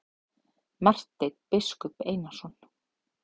Marteinn biskup Einarsson.